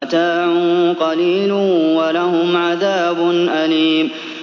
مَتَاعٌ قَلِيلٌ وَلَهُمْ عَذَابٌ أَلِيمٌ